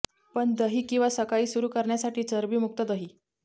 पण दही किंवा सकाळी सुरू करण्यासाठी चरबी मुक्त दही